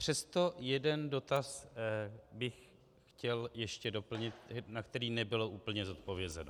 Přesto jeden dotaz bych chtěl ještě doplnit, na který nebylo úplně zodpovězeno.